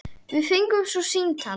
Við fengum svo símtal.